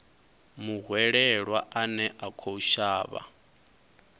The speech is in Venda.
muhwelelwa ane a khou shavha